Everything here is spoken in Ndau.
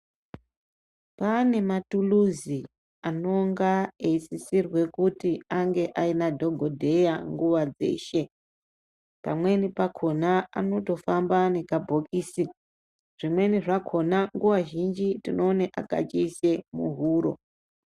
Paane matuluzi anonga eisisirwe kuti ange aina dhokodheya nguwa dzeshe pamweni pakona anotofamba neka bhokisi zvimweni zvakona nguwa zhinji tinoone akachiise muhuro